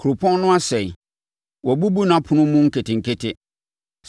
Kuropɔn no asɛe, wɔabubu nʼapono mu nketenkete.